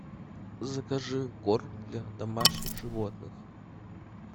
закажи корм для домашних животных